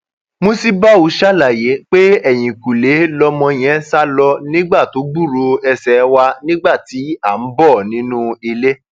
musibau ṣàlàyé pé ẹyìnkùkẹ lọmọ yẹn sá lọ nígbà tó gbúròó ẹsẹ wa nígbà tí à ń bọ nínú ilé